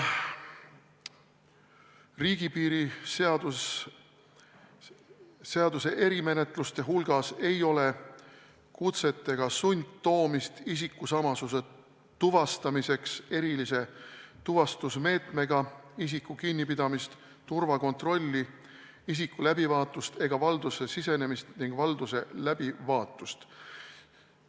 Riigipiiri seaduse erimenetluste hulgas ei ole kutsetega sundtoomist isikusamasuse tuvastamiseks erilise tuvastusmeetmega, isiku kinnipidamist, turvakontrolli, isiku läbivaatust ega valdusse sisenemist ning valduse läbivaatust.